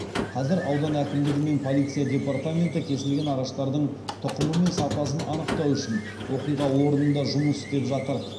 қазір аудан әкімдігі мен полиция департаменті кесілген ағаштардың тұқымы мен сапасын анықтау үшін оқиға орнында жұмыс істеп жатыр